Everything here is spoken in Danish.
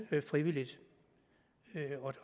frivilligt